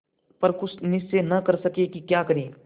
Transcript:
पर कुछ निश्चय न कर सके कि क्या करें